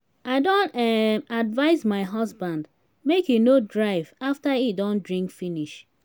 i don um advice my husband make he no drive after he don drink finish